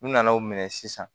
U nana o minɛ sisan